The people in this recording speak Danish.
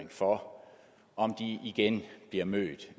for om de igen bliver mødt